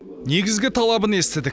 негізгі талабын естідік